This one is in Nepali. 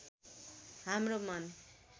हाम्रो मन